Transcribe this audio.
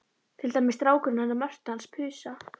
Til dæmis strákurinn hennar Mörtu hans Pusa.